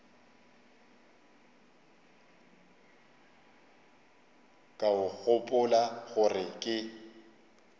ka o gopola gore ke